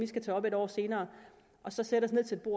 skal tage op et år senere og så sætter